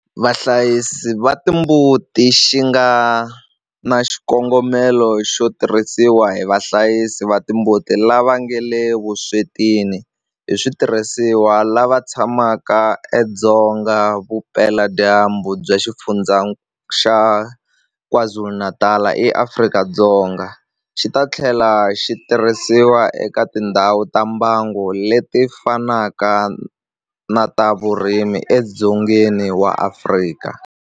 Vahlayisi va timbuti xi nga na xikongomelo xo tirhisiwa hi vahlayisi va timbuti lava nga le vuswetini hi switirhisiwa lava tshamaka edzonga vupeladyambu bya Xifundzha xa KwaZulu-Natal eAfrika-Dzonga, xi ta tlhela xi tirhisiwa eka tindhawu ta mbango leti fanaka ta vurimi edzongeni wa Afrika.